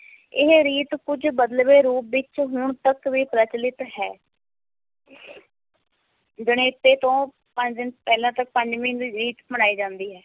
ਇਹ ਰੀਤ ਕੁੱਝ ਬਦਲਵੇਂ ਰੂਪ ਵਿੱਚ ਹੁਣ ਤੱਕ ਵੀ ਪ੍ਰਚਲਿਤ ਹੈ ਜਣੇਪੇ ਤੋਂ ਪੰਜ ਦਿਨ ਪਹਿਲਾਂ ਤੱਕ ਪੰਜ ਮਹੀਨੇ ਦੀ ਰੀਤ ਮਨਾਈ ਜਾਂਦੀ ਹੈ।